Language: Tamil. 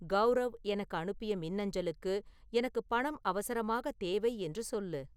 கௌரவ் எனக்கு அனுப்பிய மின்னஞ்சலுக்கு எனக்குப் பணம் அவசரமாகத் தேவை என்று சொல்லு